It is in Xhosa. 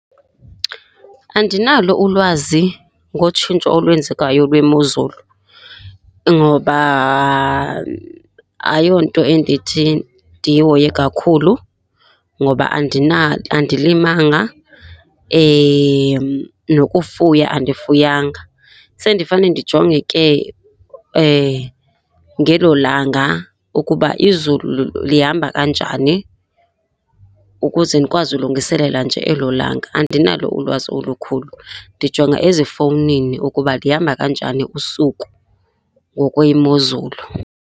Andinalo ulwazi ngotshintsho olwenzekayo lwemozulu ngoba ayonto endithi ndiyihoye kakhulu ngoba andilimanga nokufuya andifuyanga. Sendifane ndijonge ke ngelo langa ukuba izulu lihamba kanjani ukuze ndikwazi ulungiselela nje elo langa. Andinalo ulwazi olukhulu. Ndijonga ezifowunini ukuba lihamba kanjani usuku ngokwemozulu.